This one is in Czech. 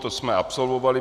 To jsme absolvovali.